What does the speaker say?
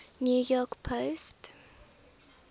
new york post